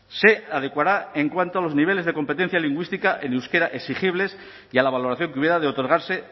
se adecuará en cuanto a los niveles de competencia lingüística en euskera exigibles y a la valoración que hubiera de otorgarse